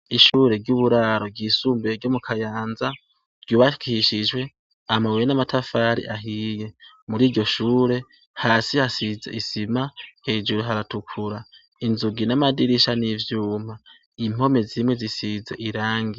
Ishure ry'uburaro ryisumbee ryo mu Kayanza ryubatwishijwe amabuye n'amatafari ahiye. Muri iryo shure, hasi hasize isima. ejuru haratukura, inzugi n'amadirisha n'ivyuma. Impome zimwe zisize irangi.